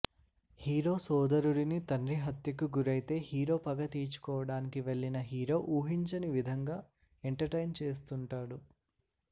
hero సోదరుడిని తండ్రి హత్యకు గురైతే హీరో పగ తీర్చుకోవడానికి వెళ్లిన హీరో ఊహించని విధంగా ఎంటర్టైన్ చేస్తుంటాడు